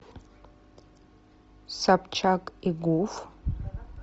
собчак и гуф